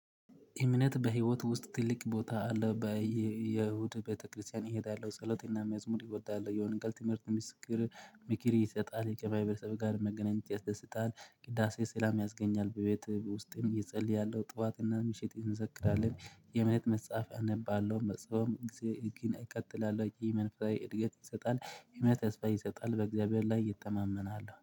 እምነት በህይወት ውስጥ ትልቅ ቦታ አለው በየእሁድ ቤተክርስቲያን እሄዳለሁ። ፀሎትና መዝሙር እወዳለሁ የሆነ ቃል ትምህርት ምስክር ምክር ይሰጣል ከማህበረሰብ ጋር መገናኘት ያስደስታል። ቅዳሴ ሰላም ያስገኛል በቤት ውስጥም እጸለያለሁ ጠዋትና ምሽት እንዘክራለን። የእምነት መጽሐፍ አነባለሁ መጽሐፍም እግዜር ይቀጥላል ወይ? የመንፈሳዊ እድገት ይሰጣል የመተስፋይ ይሰጣል በእግዚአብሔር ላይ እተማመናለሁ